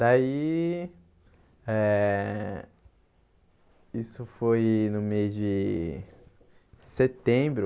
Daí... Eh Isso foi no mês de setembro,